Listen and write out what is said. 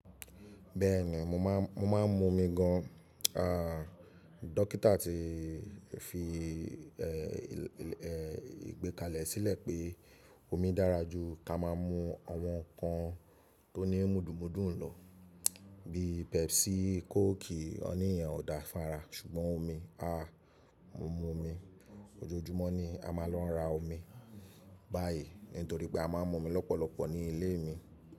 Bẹ́ẹ̀ni, mo máa ń mu omi gan. Ah dókítà ti fi eh ìgbékalẹ̀ sílẹ̀ pé omi dára jù kí a ma mu àwọn ǹkan tó ní mudun mudun lọ bí Pepsi, Coke, wọ́n nìyẹn ò dáa fára. Ṣùgbọ́n omi ah mo mu omi ojoojúmọ́ ni a máa ń lọ ra omi báyìí nítorí pé a máa ń mu omi lọ́pọ̀lọpọ̀ ní ilé mi.